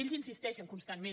ells insisteixen constantment